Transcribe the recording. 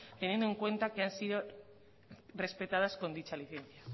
teniendo en cuenta que no han sido respetadas con esta licencia